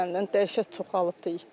Dəhşət çoxalıbdır itlər.